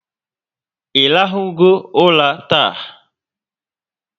Irahu go ụla taa?